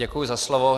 Děkuji za slovo.